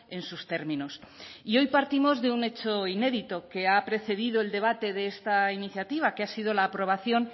en sus términos y hoy partimos de un hecho inédito que ha precedido el debate de esta iniciativa que ha sido la aprobación